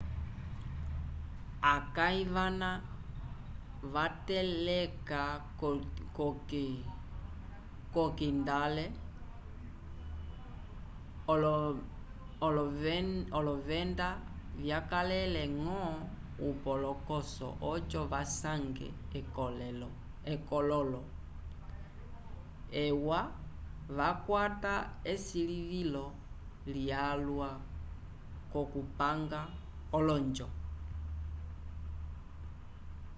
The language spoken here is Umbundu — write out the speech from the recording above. akãyi vana vateleka k'okindale olovenda vyakalele-ñgo upolokoso oco vasange ekololo ewa yakwata esilivilo lyalwa k'okupanga olonjo